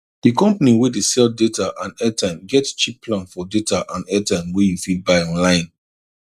the company wey dey sell data and airtime get cheap plan for data and airtime wey you fit buy online